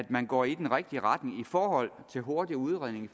man går i den rigtige retning i forhold til hurtig udredning